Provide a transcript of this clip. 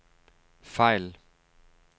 fejl